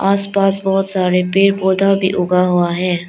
आस पास बहोत सारे पेड़ पौधा भी उगा हुआ है।